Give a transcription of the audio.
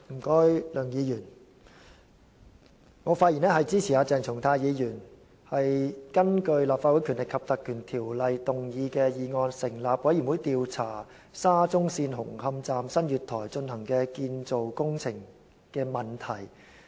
主席，我發言支持鄭松泰議員提出的議案，根據《立法會條例》成立專責委員會調查沙田至中環線紅磡站月台的建造工程問題。